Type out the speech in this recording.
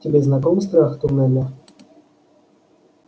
тебе знаком страх туннеля